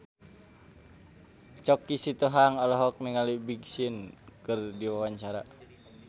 Choky Sitohang olohok ningali Big Sean keur diwawancara